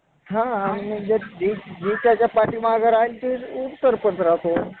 प्राचीनत्व व नावे पंढरपूर एक क्षेत्र हस्तलिखितात पौंड्रीकपूर, पुंडरीकपूर, पंढरपूर, पंढरी, पंढरीगे, पंढरगे